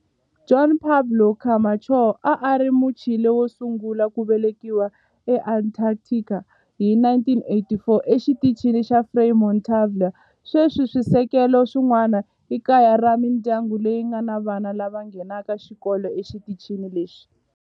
Juan Pablo Camacho a a ri Muchile wo sungula ku velekiwa eAntarctica hi 1984 eXitichini xa Frei Montalva. Sweswi swisekelo swin'wana i kaya ra mindyangu leyi nga ni vana lava nghenaka xikolo exitichini lexi.